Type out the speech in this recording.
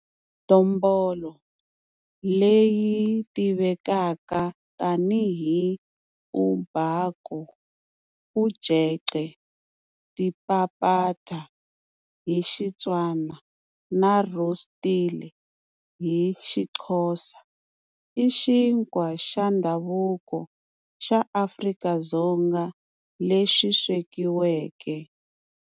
Dombolo, leyi tivekaka tanihi umbhako, ujeqe, dipapata hi Xitswana na rostile hi Xixhosa, i xinkwa xa ndhavuko xa Afrika-Dzonga lexi swekiweke.